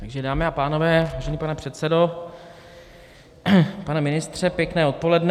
Takže, dámy a pánové, vážený pane předsedo, pane ministře, pěkné odpoledne.